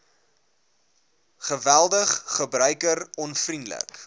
geweldig gebruiker onvriendelik